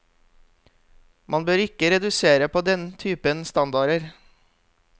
Man bør ikke redusere på den typen standarder.